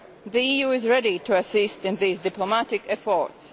The EU is ready to assist in these diplomatic efforts.